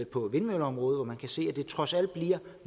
på vindmølleområdet hvor man kan se at det trods alt bliver